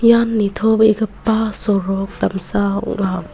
ian nitobegipa sorok damsa ong·a.